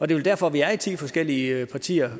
det er derfor vi er i ti forskellige partier